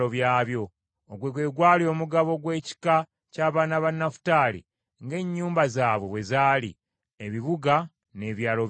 Ogwo gwe gwali omugabo gw’ekika ky’abaana ba Nafutaali ng’ennyumba zaabwe bwe zaali, ebibuga n’ebyalo byabyo.